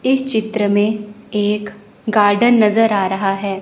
इस चित्र में एक गार्डन नजर आ रहा है।